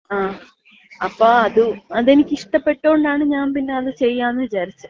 ങ്ങാ. അപ്പോ അതെനിക്കിഷ്ടപ്പെട്ടോണ്ടാണ് ഞാമ്പിന്ന അത് ചെയ്യാന്ന് വിചാരിച്ചെ.